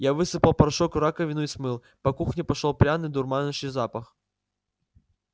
я высыпал порошок в раковину и смыл по кухне пошёл пряный дурманящий запах